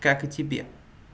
как и тебе